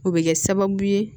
O bɛ kɛ sababu ye